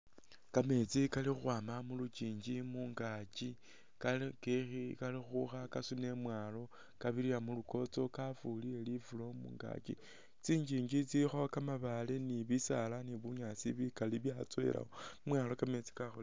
Kameetsi kali ukhwama mulukyinji mungakyi kali ukhukha kasuna imwalo kabirira mulukotso kafuile lifulo mungakyi , tsi’nyinji tsilikho kamaabale ni bisaala ni bunyaasi bikali byatsowelakho imwalo kameetsi ka